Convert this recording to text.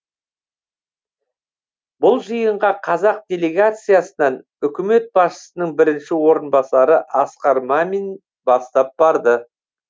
бұл жиынға қазақ делегациясынан үкімет басшысының бірінші орынбасары асқар мәмин бастап барды